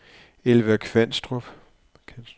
Elva Kanstrup